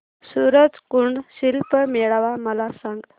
सूरज कुंड शिल्प मेळावा मला सांग